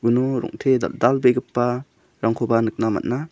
rongte dal·dalbegipa rangkoba nikna man·a.